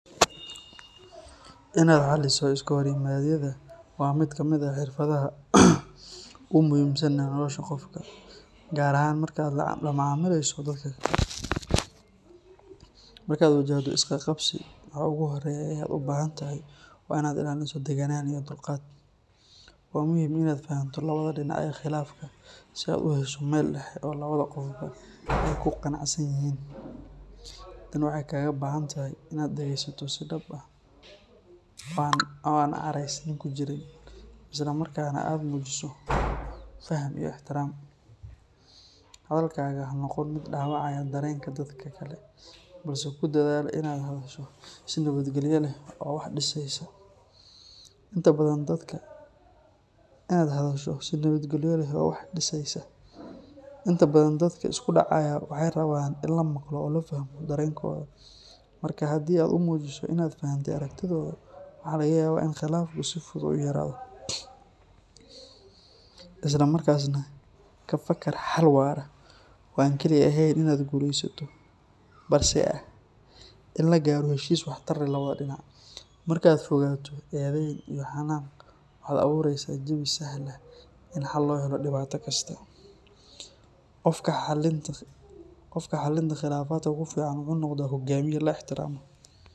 Inaad xaliso iskahorimaadyada waa mid ka mid ah xirfadaha ugu muhiimsan ee nolosha qofka, gaar ahaan marka aad la macaamilayso dadka kale. Marka aad wajahdo isqabqabsi, waxa ugu horreeya ee aad u baahan tahay waa in aad ilaaliso deganaan iyo dulqaad. Waa muhiim in aad fahamto labada dhinac ee khilaafka si aad u hesho meel dhexe oo labada qofba ay ku qanacsan yihiin. Tani waxay kaaga baahan tahay in aad dhageysato si dhab ah oo aan caraysni ku jirin, isla markaana aad muujiso faham iyo ixtiraam. Hadalkaaga ha noqon mid dhaawacaya dareenka dadka kale, balse ku dadaal in aad hadasho si nabadgelyo leh oo wax dhisaysa. Inta badan dadka isku dhacaya waxay rabaan in la maqlo oo la fahmo dareenkooda, marka haddii aad u muujiso in aad fahantay aragtidooda, waxa laga yaabaa in khilaafku si fudud u yaraado. Isla markaasna, ka fakar xal waara oo aan kaliya ahayn in aad guulaysato, balse ah in la gaaro heshiis waxtar leh labada dhinac. Marka aad ka fogaato eedeyn iyo xanaaq, waxaad abuureysaa jawi sahla in xal loo helo dhibaato kasta. Qofka xalinta khilaafaadka ku fiican wuxuu noqdaa hogaamiye la ixtiraamo.